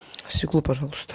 свеклу пожалуйста